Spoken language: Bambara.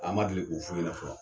An ma deli ko f'u ɲɛna fɔlɔ.